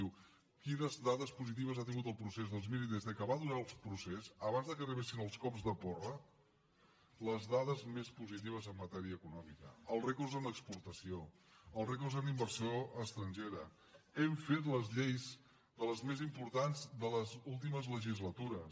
diu quines dades positives ha tingut el procés doncs miri des que va durar el procés abans que arribessin els cops de porra les dades més positives en matèria econòmica els rècords en exportació els rècords en inversió estrangera hem fet les lleis de les més importants de les últimes legislatures